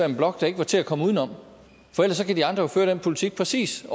en blok der ikke var til at komme udenom for ellers kan de andre jo føre den politik præcis